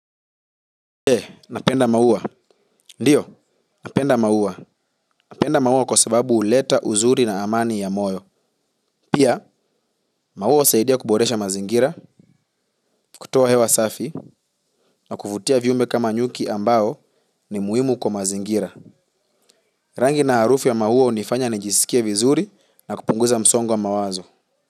Eeh, napenda maua. Ndiyo, napenda maua. Napenda maua kwa sababu huleta, uzuri na amani ya moyo. Pia, maua husaidia kuboresha mazingira, kutoa hewa safi, na kuvutia viumbe kama nyuki ambao ni muhimu kwa mazingira. Rangi na harufu ya maua hunifanya nijisikie vizuri na kupunguza msongo wa mawazo.